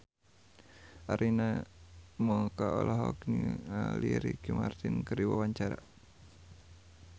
Arina Mocca olohok ningali Ricky Martin keur diwawancara